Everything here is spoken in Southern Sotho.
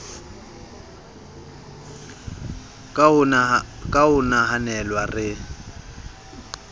ka ho o nahanela re